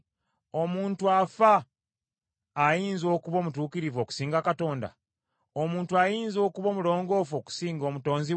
‘Omuntu afa ayinza okuba omutuukirivu okusinga Katonda? Omuntu ayinza okuba omulongoofu okusinga Omutonzi we?